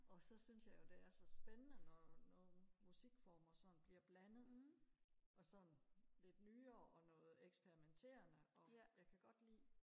og så synes jeg jo det er så spændende når nogle musikformer sådan bliver blandet og sådan lidt nyere og noget eksperimenterende og jeg kan godt lide